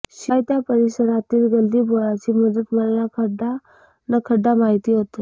शिवाय त्या परिसरातील गल्लीबोळाची मला खडान्खडा माहिती होती